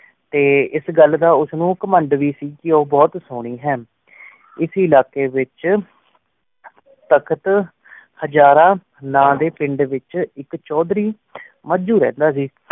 T ਇਸ ਘਾਲ ਦਾ ਉਸ ਨੂ ਘੁਮੰਡ ਵੇ ਸੀ ਕੀ ਉਬੁਹਤ ਸੁਨੀ ਹੈਂ ਇਸੀ ਏਲਾਕ੍ਯ ਵੇਚ ਤਖ਼ਤ ਹੇਜ਼ਾਰਾ ਨਦੀ ਪਿੰਡ ਵੇਚ ਏਕ ਚੁਦਾਰੀ ਮਾਝੁ ਰੰਡਾ ਸੀ